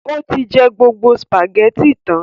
Ó tí jẹ gbogbo spàgẹ́ti tán.